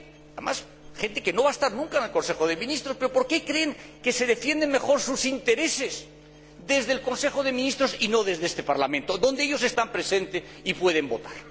Además, gente que no va a estar nunca en el Consejo de Ministros. Pero, ¿por qué creen que se defienden mejor sus intereses desde el Consejo de Ministros y no desde este Parlamento, donde ellos están presentes y pueden votar?